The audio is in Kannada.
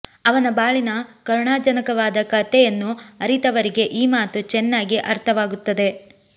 ಅವನ ಬಾಳಿನ ಕರುಣಾಜನಕವಾದ ಕತೆಯನ್ನು ಅರಿತವರಿಗೆ ಈ ಮಾತು ಚೆನ್ನಾಗಿ ಅರ್ಥವಾಗುತ್ತದೆ